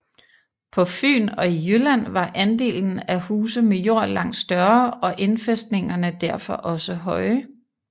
På Fyn og i Jylland var andelen af huse med jord langt større og indfæstningerne derfor også høje